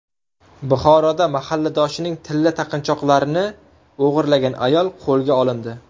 Buxoroda mahalladoshining tilla taqinchoqlarni o‘g‘irlagan ayol qo‘lga olindi.